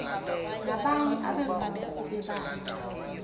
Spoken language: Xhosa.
nabanye abequmrhu lebandla